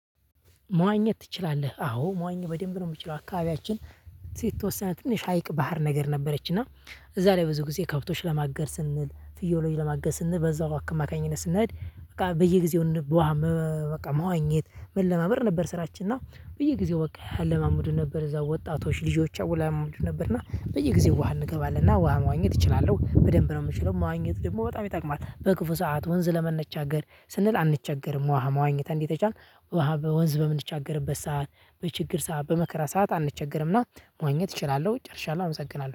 መዋኘት ትችላለህ አዎ መዋኘት በደንብ ነው የምችለው አካባቢያችን የተወሰነ ትንሽ ሀይቅ ባህር ነገር ነበረችና እዛ ላይ ብዙ ጊዜ ከብቶሽ ለማገድ ስንል ፍየሎች ለማገድ ስንል በዛው አማካኝነት ስንሄድ። በቃ በየ ጊዜው በውሃ በቃ መዋኘት መለማመድ ነበር ስራችን እና በየጊዜው በቃ ያለማመዱን ነበር እዛው ወጣቶች ልጆች አወላመዱ ነበር። እና በየጊዜው ውሃ እንገባለንና ውሃ መዋኘት እችላለሁ በደንብ ነው የምችለው። መዋኘት ደግሞ በጣም ይጠቅማል በክፉ ሰዓት ወንዝ ለመነጋገር ስንል አንቸገርም። ውሃ መዋኘት እንዲተቻል ውሃ በወንዝ በምንቻገርበት ሰዓት በችግር ሰዓት በመከራ ሰዓት አንቸገርምና መዋኘት እችላለሁ ጨርሻለሁ። አመሰግናለሁ